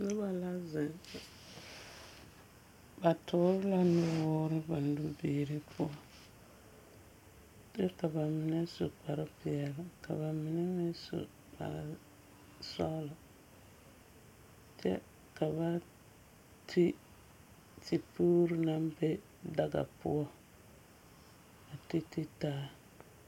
Noba la zeŋ zeŋ. Ba toore la nuwoor a ba nubiiri poɔ. Kyɛ ka ba mine su kparpeɛle, ka ba mine meŋ su kparsɔɔlɔ. Kyɛ ka ba ti tepuuru naŋ be daga poɔŋ a titi taa.